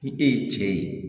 Ni e ye cɛ ye